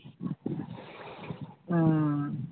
হম